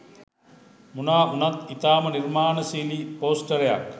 මොනා වුනත් ඉතාම නිර්මාණශීලී පෝස්ටරයක්